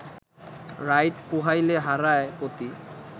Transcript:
রাইত পুহাইলে হারায় পতি